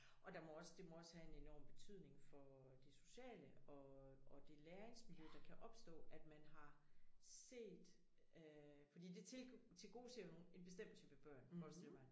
Og der må også det må også have en enorm betydning for det sociale og og det læringsmiljø der kan opstå at man har set øh fordi det til tilgodeser jo nogen en bestemt type børn forestiller jeg mig